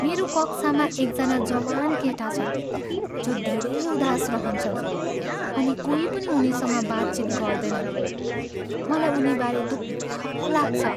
मेरो कक्षामा एकजना जवान केटा छन् जो धेरै उदास रहन्छन् अनि कोही पनि उनीसँग बातचित गर्दैनन्। मलाई उनीबारे दुःख लाग्छ।